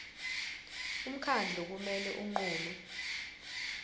umkhandlu kumele unqume